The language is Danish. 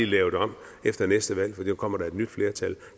lavet om efter næste valg fordi der kommer et nyt flertal